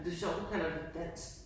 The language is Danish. Det sjovt du kalder det dansk